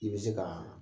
I bɛ se ka